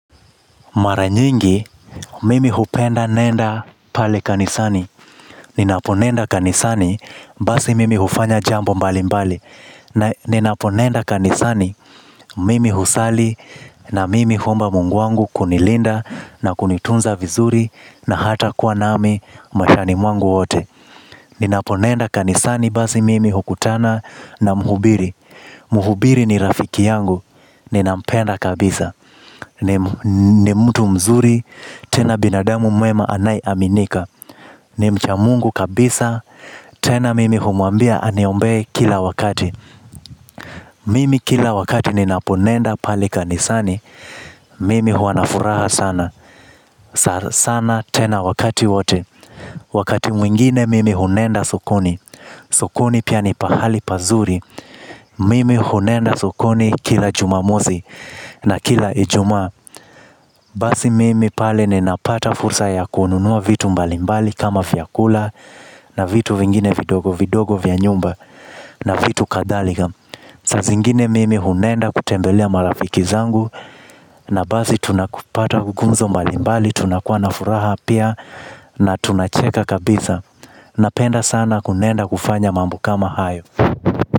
Maranyingi, mimi hupenda nenda pale kanisani. Ninaponenda kanisani, basi mimi hufanya jambo mbali mbali. Ninaponenda kanisani, mimi husali na mimi huomba mungu wangu kunilinda na kunitunza vizuri na hata kuwa nami mashani mwangu wote. Ni naponenda kanisani basi mimi hukutana na muhubiri. Muhubiri ni rafiki yangu. Ninampenda kabisa ni mtu mzuri tena binadamu mwema anaye aminika. Ni mcha mungu kabisa. Tena mimi humuambia aniombe kila wakati. Mimi kila wakati ni naponenda pali kanisani. Mimi huanafuraha sana. Sana tena wakati wote. Wakati mwingine mimi hunenda sokoni. Sokoni pia ni pahali pazuri. Mimi hunenda sokoni kila jumamosi na kila ijumaa. Basi mimi pale nnapata fursa ya kuonunua vitu mbalimbali kama vyakula na vitu vingine vidogi vidigi vya nyumba na vitu kadhalika. Sazingine mimi hunenda kutembelea marafiki zangu na basi tunakupata kugumzo mbalimbali tunakua na furaha pia na tunacheka kabisa. Napenda sana kunenda kufanya mambo kama hayo. Kwa hivyo.